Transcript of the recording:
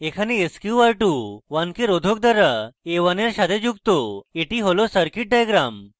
এখানে sqr21k রোধক দ্বারা a1 এর সাথে যুক্ত এটি হল circuit diagram